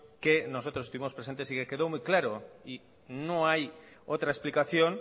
que nosotros estuvimos presentes y que quedó muy claro y no hay otra explicación